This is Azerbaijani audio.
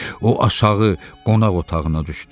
O, aşağı qonaq otağına düşdü.